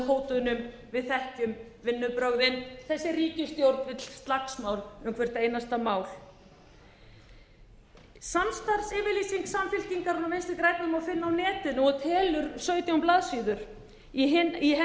hótunum við þekkjum vinnubrögðin þessi ríkisstjórn vill slagsmál um hvert einasta mál samstarfsyfirlýsingu samfylkingarinnar og vinstri grænna má finna á netinu og telur sautján blaðsíður í henni